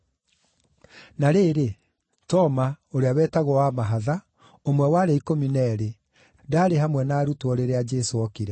Na rĩrĩ, Toma (ũrĩa wetagwo Wa-mahatha), ũmwe wa arĩa ikũmi na eerĩ, ndaarĩ hamwe na arutwo rĩrĩa Jesũ okire.